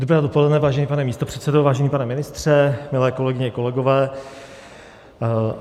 Dobré dopoledne, vážený pane místopředsedo, vážený pane ministře, milé kolegyně, kolegové.